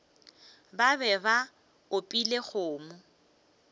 ba be ba opile kgomo